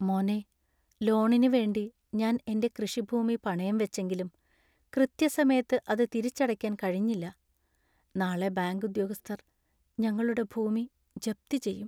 മോനെ, ലോണിനു വേണ്ടി ഞാൻ എന്‍റെ കൃഷിഭൂമി പണയം വെച്ചെങ്കിലും കൃത്യസമയത്ത് അത് തിരിച്ചടയ്ക്കാൻ കഴിഞ്ഞില്ല. നാളെ ബാങ്ക് ഉദ്യോഗസ്ഥർ ഞങ്ങളുടെ ഭൂമി ജപ്തി ചെയ്യും.